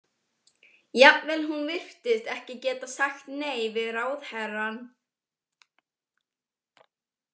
Jafnvel hún virtist ekki getað sagt nei við ráðherrann.